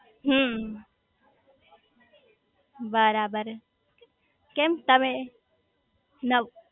હમ્મ બરાબર કેમ તમે નવ